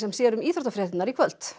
sér um íþróttafréttirnar í kvöld